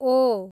ओ